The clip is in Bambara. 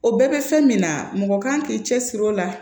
O bɛɛ bɛ fɛn min na mɔgɔ kan k'i cɛ siri o la